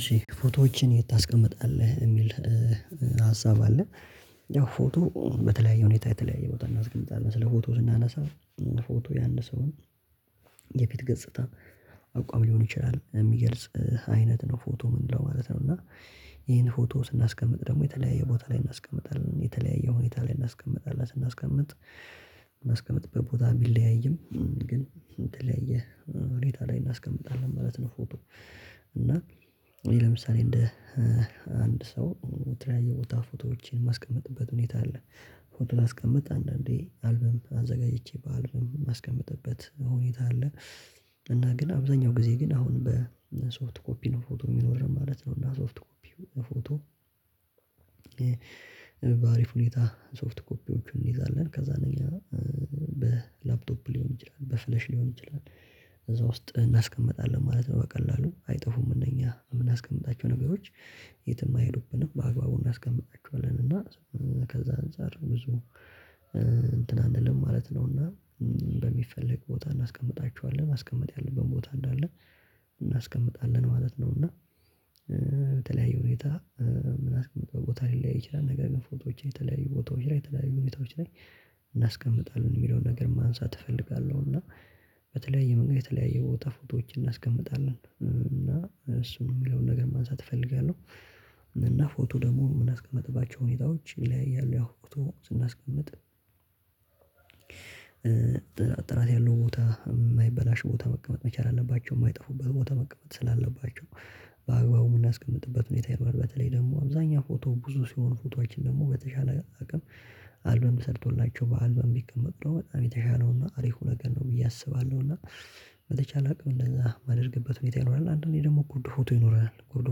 እሺ ፎቶዎችን የት ታስቀምጣለህ የሚል ሀሳብ አለ ያው ፎቶ በተለያየ ሁኔታ የተለያየ ቦታ እናስቀምጣለን ስለ ፎቶ ስናነሳ ፎቶ የአንድ ሰው የፊት ገጽታ አቋም ሊሆን ይችላል የሚገልጽ አይነት ነው ፎቶ ምንለው ማለት ነው እና ይሄን ፎቶ ስናስቀምጥ ደግሞ የተለያየ ቦታ ላይ እናስቀምጣለን የተለያየ ሁኔታ ላይ እናስቀምጣለን ስናስቀምጥ የምናስቀምጥበት ቦታ ቢለያይም ግን የተለያየ ሁኔታ ላይ እናስቀምጣለን ማለት ነው ፎቶ እና ለምሳሌ እንደ አንድ ሰው የተለያየ ቦታ ፎቶዎችን የማስቀምጥበት ሁኔታ አለ ፎቶ ላስቀምጥ አንዳንዴ አልበም አዘጋጅቼ በአልበም የማስቀምጥበት ሁኔታ አለ እና ግን አብዛኛው ጊዜ ግን አሁን በሶፍት ኮፒ ነው ፎቶ የሚኖር ማለት ነው እና ሶፍት ኮፒ ፎቶ በአሪፍ ሁኔታ ሶፍት ኮፒዎችን እንይዛለን ከዛ ሌላ በላፕቶፕ ሊሆን ይችላል በፍለሽ ሊሆን ይችላል እዛ ውስጥ እናስቀምጣለን ማለት ነው በቀላሉ አይጠፉም እነኛ የምናስቀምጣቸው ነገሮች የትም አይሄዱብንም በአግባቡ እናስቀምጣቸዋለን እና ከዛ አንፃር ብዙ እንትን አንልም ማለት ነውና በሚፈለግ ቦታ እናስቀምጣቸዋለን ማስቀመጥ ያለብን ቦታ እንዳለ እናስቀምጣለን ማለት ነው እና ሁኔታ ምናስቀምጥበት ቦታ ሊለያይ ይችላል ነገር ግን ፎቶዎች የተለያዩ ቦታዎች ላይ የተለያዩ ሁኔታዎች ላይ እናስቀምጣለን የሚለውን ነገር ማንሳት እፈልጋለሁ እና በተለያየ መንገድ የተለያየ ቦታ ፎቶዎችን እናስቀምጣለን እና እሱም የሚለውን ነገር ማንሳት እፈልጋለሁ እና ፎቶ ደግሞ የምናስቀምጥባቸው ሁኔታዎች ይለያያሉ ያው ፎቶ ስናስቀምጥ ጥራት ያለው ቦታ የማይበላሽ ቦታ መቀመጥ መቻል አለባቸው የማይጠፉበት ቦታ መቀመጥ ስላለባቸው በአግባቡ የምናስቀምጥበት ሁኔታ ይኖራል በተለይ ደግሞ አብዛኛው ፎቶ ብዙ ሲሆን ፎቶአችን ደግሞ በተሻለ አቅም አልበም ተሰርቶላቸው በአልበም ቢቀመጡ ደሞ በጣም የተሻለውና አሪፉ ነገር ነው ብዬ አስባለሁና በተቻለ አቅም እንደዛ ማደርግበት ሁኔታ ይኖራል አንዳንዴ ደግሞ ጉርድ ፎቶ ይኖረናል። ጉርድ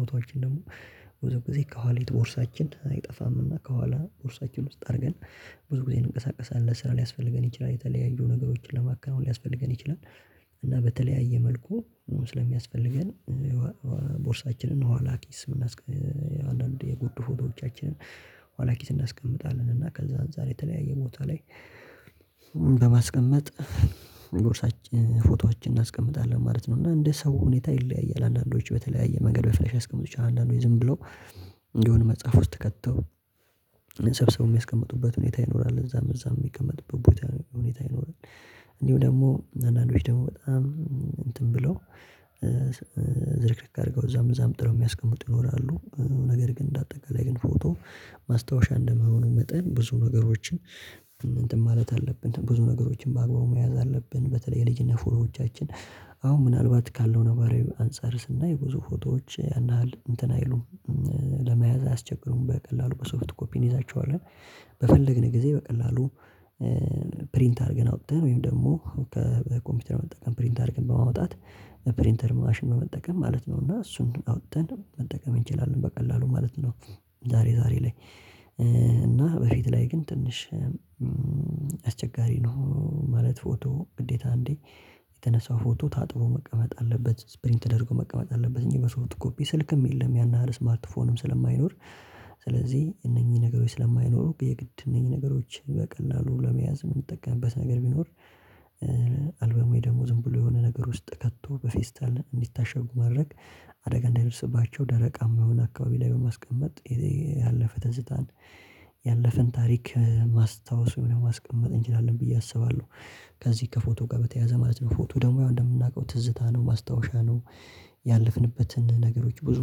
ፎቶዎችን ደግሞ ብዙ ጊዜ ከኋሊት ቦርሳችን አይጠፋምና ከኋላ ቦርሳችን ውስጥ አድርገን ብዙ ጊዜ እንንቀሳቀሳለን ስራ ሊያስፈልገን ይችላል የተለያዩ ነገሮችን ለማከናወን ሊያስፈልገን ይችላል እና በተለያየ መልኩ ስለሚያስፈልገን ቦርሳችንን ኋላ ኪስ አንዳንድ የጉርድ ፎቶዎቻችንን ኋላ ኪስ እናስቀምጣለን እና ከዛ አንፃር የተለያየ ቦታ ላይ በማስቀመጥ ቦርሳችን ፎቶአችንን እናስቀምጣለን ማለት ነው እና እንደ ሰው ሁኔታ ይለያያል አንዳንዶች በተለያየ መንገድ በፍለሽ ሊያስቀምጡ ይችላሉ አንዳንዶች ዝም ብለው የሆነ መጽሐፍ ውስጥ ከተው ሰብስበው የሚያስቀምጡበት ሁኔታ ይኖራል እዛም እዛም የሚቀመጥበት ቦታ ሁኔታ ይኖራል እንዲሁ ደግሞ አንዳንዶች ደግሞ በጣም እንትን ብለው ዝርክርክ አድርገው እዛም እዛም ጥለው የሚያስቀምጡ ይኖራሉ ነገር ግን እንደ አጠቃላይ ግን ፎቶ ማስታወሻ እንደመሆኑ መጠን ብዙ ነገሮችን እንትን ማለት አለብን ብዙ ነገሮችን በአግባቡ መያዝ አለብን በተለይ የልጅነት ፎቶዎቻችን አሁን ምናልባት ካለው ነባራዊ አንፃር ስናይ ብዙ ፎቶዎች ያን ያህል እንትን አይሉም ለመያዝ አያስቸግሩም በቀላሉ በሶፍት ኮፒ እንይዛቸዋለን በፈለግን ጊዜ በቀላሉ ፕሪንት አድርገን አውጥተን ወይም ደግሞ ከኮምፒውተር መጠቀም ፕሪንት አድርገን በማውጣት ፕሪንተር ማሽን በመጠቀም ማለት ነው እና እሱን አውጥተን መጠቀም እንችላለን በቀላሉ ማለት ነው ዛሬ ዛሬ ላይ እና በፊት ላይ ግን ትንሽ አስቸጋሪ ነው ማለት ፎቶ ግዴታ አንዴ የተነሳው ፎቶ ታጥቦ መቀመጥ አለበት ፕሪንት ተደርጎ መቀመጥ አለበት እንጂ በሶፍት ኮፒ ስልክም የለም ያን ያህል ስማርት ፎንም ስለማይኖር ስለዚህ እነኚህ ነገሮች ስለማይኖሩ የግድ እነኚህ ነገሮችን በቀላሉ ለመያዝ የምንጠቀምበት ነገር ቢኖር አልበም ወይ ደግሞ ዝም ብሎ የሆነ ነገር ውስጥ ከቶ በፌስታል እንዲታሸጉ ማድረግ አደጋ እንዳይደርስባቸው ደረቃማ በሆነ አካባቢ ላይ በማስቀመጥ ያለፈ ትዝታን ያለፈን ታሪክ ማስታወስ ወይም ደሞ ማስቀመጥ እንችላለን ብዬ አስባለሁ ከዚህ ከፎቶ ጋር በተያያዘ ማለት ነው ፎቶ ደግሞ ያው እንደምናውቀው ትዝታ ነው ማስታወሻ ነው ያለፍንበትን ነገሮች ብዙ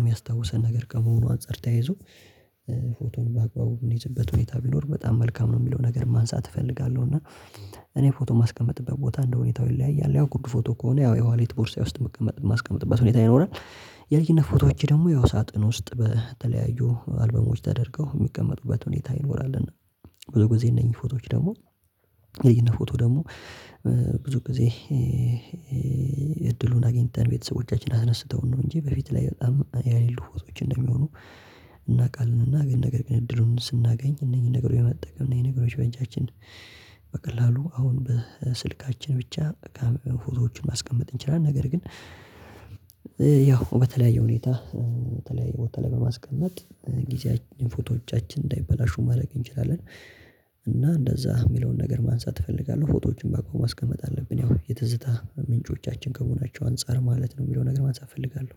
የሚያስታውሰን ነገር ከመሆኑ አንፃር ተያይዞ ፎቶን በአግባቡ የምንይዝበት ሁኔታ ቢኖር በጣም መልካም ነው የሚለውን ነገር ማንሳት እፈልጋለሁ እና እኔ ፎቶ የማስቀምጥበት ቦታ እንደ ሁኔታው ይለያያል ያው ጉርድ ፎቶ ከሆነ ያው የኋሊት ቦርሳ ውስጥ ማስቀመጥበት ሁኔታ ይኖራል የልጅነት ፎቶዎቼ ደግሞ ያው ሳጥን ውስጥ በተለያዩ አልበሞች ተደርገው የሚቀመጡበት ሁኔታ ይኖራልና ብዙ ጊዜ እነኚህ ፎቶዎች ደግሞ የልጅነት ፎቶ ደግሞ ብዙ ጊዜ እድሉን አግኝተን ቤተሰቦቻችን አነስተውን ነው እንጂ በፊት ላይ በጣም ያሌሉ ፎቶዎች እንደሚሆኑ እናውቃለን እና ግን ነገር ግን እድሉን ስናገኝ እነኚህን ነገሮች በመጠቀም እነኚህን ነገሮች በእጃችን በቀላሉ አሁን በስልካችን ብቻ በቃ ፎቶዎቹን ማስቀመጥ እንችላለን ነገር ግን ያው በተለያየ ሁኔታ በተለያየ ቦታ ላይ በማስቀመጥ ፎቶዎቻችን እንዳይበላሹ ማድረግ እንችላለን እና እንደዛ የሚለውን ነገር ማንሳት እፈልጋለሁ ፎቶዎችን በአግባቡ ማስቀመጥ አለብን ያው የትዝታ ምንጮቻችን ከመሆናቸው አንፃር ማለት ነው የሚለውን ነገር ማንሳት እፈልጋለሁ